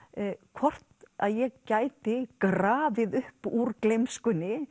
hvort að ég gæti grafið upp úr